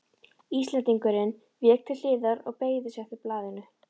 Íslendingurinn vék til hliðar og beygði sig eftir blaðinu.